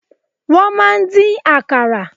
Wọ́n máa ń dín Àkàrà.